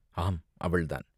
ஆம், அவள்தான்!